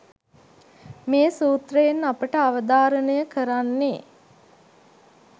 මේ සූත්‍රයෙන් අපට අවධාරණය කරන්නේ